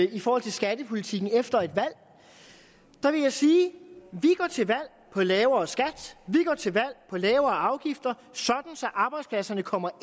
i forhold til skattepolitikken efter et valg vil jeg sige at på lavere skat vi går til valg på lavere afgifter sådan arbejdspladserne kommer ind